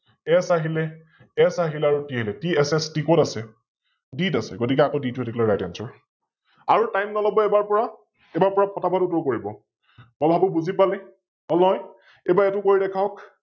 S আহিলে S আহিলে আৰু T আহিল, TSST কত আছে? B ত আছে, গতিকে আকৌ B টো হৈ থাকিলে RightAnswer । আৰু Time নলৱ এইবাৰৰ পৰা, এইবাৰৰ পৰা ফটা ফট উত্তৰ কৰিব । মই ভাবো বুজি পালে? অলয়? এইবাৰ এইতো কৰি দেখাওক,